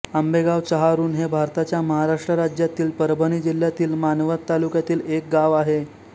आंबेगाव चहारुण हे भारताच्या महाराष्ट्र राज्यातील परभणी जिल्ह्यातील मानवत तालुक्यातील एक गाव आहे